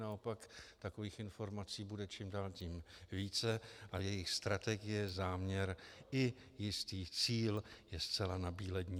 Naopak takových informací bude čím dál tím více a jejich strategie, záměr i jistý cíl je zcela nabíledni.